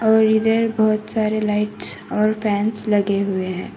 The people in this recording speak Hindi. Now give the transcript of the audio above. और इधर बहोत सारे लाइट्स और फैंस लगे हुए हैं।